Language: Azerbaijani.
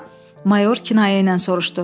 Mayor kinayə ilə soruşdu.